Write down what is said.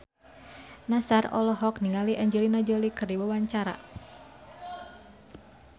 Nassar olohok ningali Angelina Jolie keur diwawancara